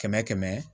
Kɛmɛ kɛmɛ